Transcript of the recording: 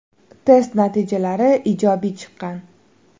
Test natijalari ijobiy chiqqan.